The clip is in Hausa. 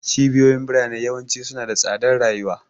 Cibiyoyin birane yawanci suna da tsadar rayuwa.